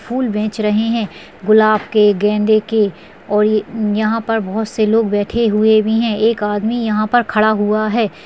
फूल बेच रहे हैं गुलाब के गेंदे के और ये-यहां पर बहुत से लोग बैठे हुए भी हैं एक आदमी यहां पर खड़ा हुआ है।